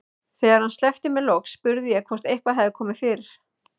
Þegar hann sleppti mér loks spurði ég hvort eitthvað hefði komið fyrir.